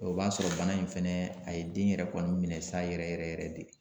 O b'a sɔrɔ bana in fɛnɛ a ye den yɛrɛ kɔni minɛ sa yɛrɛ yɛrɛ yɛrɛ de.